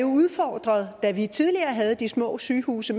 udfordring da vi tidligere havde de små sygehuse